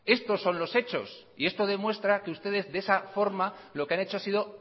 estos son los hechos y esto demuestra que ustedes de esa forma lo que han hecho ha sido